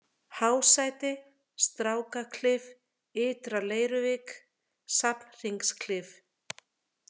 Hásæti, Strákaklif, Ytra-Leiruvik, Safnhringsklif